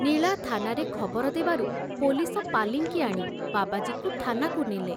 ନୀଳା ଥାନାରେ ଖବର ଦେବାରୁ ପୋଲିସ ପାଲିଙ୍କି ଆଣି ବାବାଜୀକୁ ଥାନାକୁ ନେଲେ।